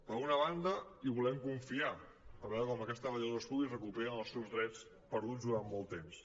per una banda hi volem confiar per veure com aquests treballadors públics recuperen els seus drets perduts durant molt temps